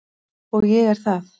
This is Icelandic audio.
Og ég er það.